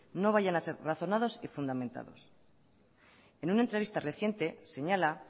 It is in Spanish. no vayan a ser razonados y fundamentados en una entrevista reciente señala